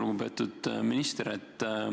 Lugupeetud minister!